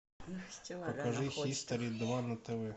покажи хистори два на тв